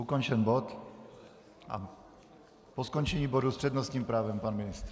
Ukončen bod a po skončení bodu s přednostním právem pan ministr.